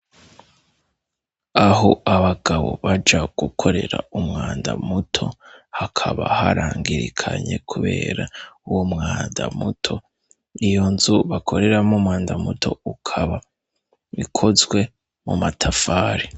Aho abagabo baja gukorera umwanda muto hakaba harangirikanye, kubera uwo mwanda muto iyo nzu bakoreramo umwanda muto ukaba bikozwe mu matafari.